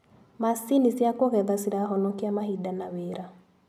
Macini cia kũgetha cirahonokia mahinda na wĩra.